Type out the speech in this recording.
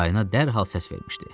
Harayına dərhal səs vermişdi.